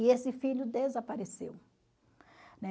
E esse filho desapareceu. Né?